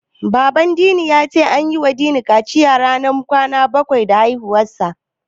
Baban Dini ya ce an yiwa Dini kaciya ranar kwana bakwai da haihuwarsa.